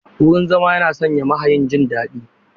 Wurin zama yana sa mahayin jin daɗi.